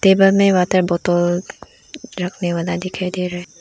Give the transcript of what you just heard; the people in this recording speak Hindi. टेबल में वाटर बोतल रखने वाला दिखाई दे रहा है।